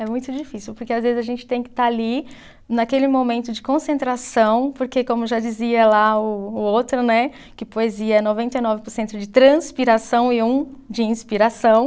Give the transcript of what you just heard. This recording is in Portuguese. É muito difícil, porque às vezes a gente tem que estar ali naquele momento de concentração, porque como já dizia lá o o outro, né, que poesia é noventa e nove por cento de transpiração e um de inspiração.